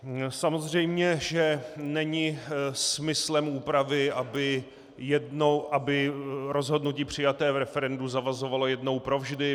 Samozřejmě že není smyslem úpravy, aby rozhodnutí přijaté v referendu zavazovalo jednou provždy.